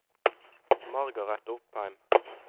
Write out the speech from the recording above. Margaret Opheim